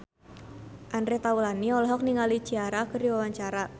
Andre Taulany olohok ningali Ciara keur diwawancara